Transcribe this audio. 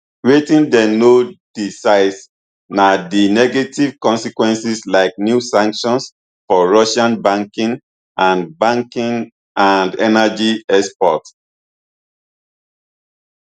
wetin dem no disciss na di negative consequences like new sanctions for russian banking and banking and energy exports